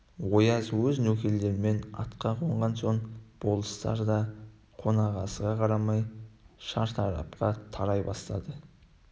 ояз өз нөкерлерімен атқа қонған соң болыстар да қонақасыға қарамай шартарапқа тарай бастады